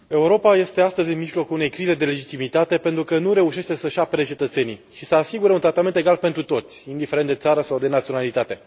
Doamnă președinte, Europa este astăzi în mijlocul unei crize de legitimitate, pentru că nu reușește să își apere cetățenii și să asigure un tratament egal pentru toți, indiferent de țară sau de naționalitate.